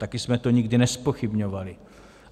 Taky jsme to nikdy nezpochybňovali.